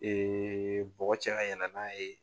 bɔgɔ cɛ ka yɛlɛ n'a ye.